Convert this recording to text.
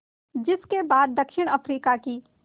जिस के बाद दक्षिण अफ्रीका की